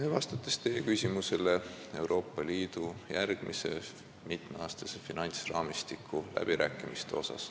Vastan ka teie küsimusele Euroopa Liidu järgmise mitmeaastase finantsraamistiku läbirääkimiste kohta.